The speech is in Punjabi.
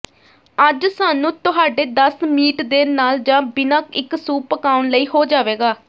ਅੱਜ ਸਾਨੂੰ ਤੁਹਾਡੇ ਦੱਸ ਮੀਟ ਦੇ ਨਾਲ ਜ ਬਿਨਾ ਇੱਕ ਸੂਪ ਪਕਾਉਣ ਲਈ ਹੋ ਜਾਵੇਗਾ